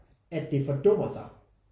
At det fordummer sig